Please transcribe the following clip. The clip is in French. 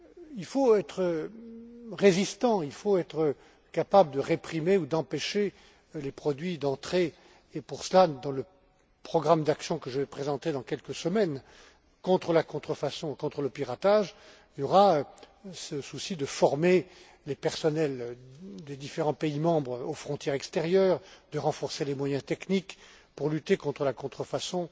Il faut être résistant, il faut être capable de réprimer ou d'empêcher les produits d'entrer et, pour cela, dans le programme d'action que je vais présenter dans quelques semaines contre la contrefaçon et contre le piratage, il y aura ce souci de former les personnels des différents pays membres aux frontières extérieures, de renforcer les moyens techniques pour lutter contre la contrefaçon